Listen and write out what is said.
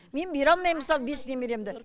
мен бере алмайм мысалы бес немеремді